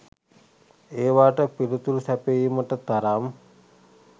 ඒවාට පිලිතුරුසැපයීමට තරම්